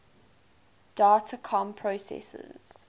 data comm processors